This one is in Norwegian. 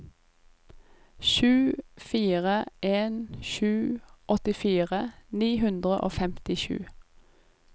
sju fire en sju åttifire ni hundre og femtisju